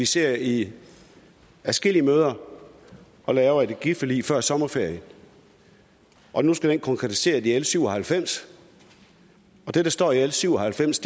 siddet i adskillige møder og lavet energiforlig før sommerferien og nu skal det konkretiseres i l syv og halvfems det der står i l syv og halvfems